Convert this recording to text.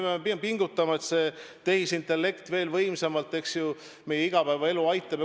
Me peame pingutama, et tehisintellekt veel võimsamalt, eks ju, meie igapäevaelu aitaks.